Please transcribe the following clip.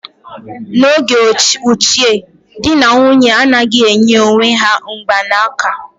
N'oge ochie, di na nwunye anaghị enye onwe ha mgbanaka